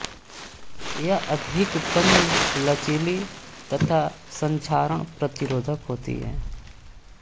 यह अधिक तन्य लचीली तथा संक्षारण प्रतिरोधक होती है